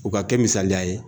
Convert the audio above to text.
U ka kɛ misaliya ye